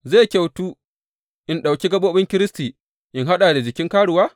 Zai kyautu in ɗauki gaɓoɓin Kiristi in haɗa da jikin karuwa?